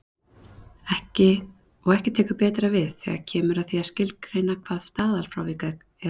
Og ekki tekur betra við þegar kemur að því að skilgreina hvað staðalfrávik er.